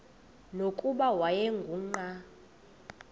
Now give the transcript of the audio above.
nokuba wayengu nqal